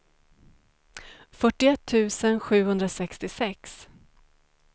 fyrtioett tusen sjuhundrasextiosex